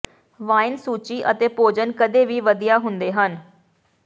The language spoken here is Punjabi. ਵਾਈਨ ਸੂਚੀ ਅਤੇ ਭੋਜਨ ਕਦੇ ਵੀ ਵਧੀਆ ਹੁੰਦੇ ਹਨ